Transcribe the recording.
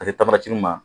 A te ma